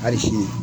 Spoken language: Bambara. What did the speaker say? Ari sini